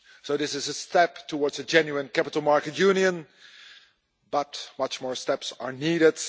This is a step towards a genuine Capital Market Union, but many more steps are needed.